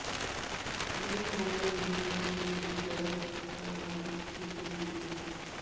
ਅਜਿਹੇ ਮਾਮਲੇ ਹੁੰਦੇ ਹਨ ਜਦੋਂ ਲੇਬੀ ਗਰਭ ਅਵਸਥਾ ਦੌਰਾਨ ਦੁਖੀ ਹੁੰਦੀ ਹੈ